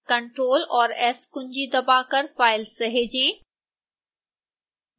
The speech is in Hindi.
ctrl और s कुंजी दबाकर फ़ाइल सहेजें